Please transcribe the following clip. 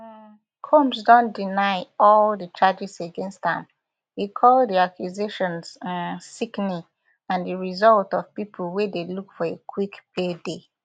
um combs don deny all di charges against am e call di accusations um sickening and di result of pipo wey dey look for a quick payday